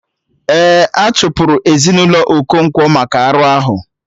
Ee, a chụpụrụ ezinaụlọ Okonkwo maka arụ ahụ